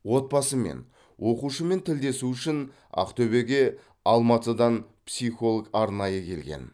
отбасымен оқушымен тілдесу үшін ақтөбеге алматыдан психолог арнайы келген